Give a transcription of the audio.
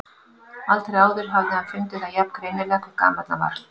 Aldrei áður hafði hann fundið það jafn greinilega hve gamall hann var.